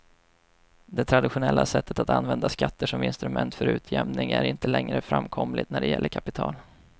Det traditionella sättet att använda skatter som instrument för utjämning är inte längre framkomligt när det gäller kapital.